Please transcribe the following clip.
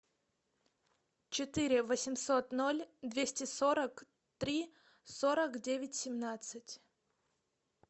четыре восемьсот ноль двести сорок три сорок девять семнадцать